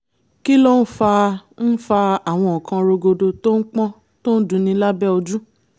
kí ló ń fa ń fa àwọn nǹkan rogodo tó pọ́n tó ń dunni lábẹ́ ojú?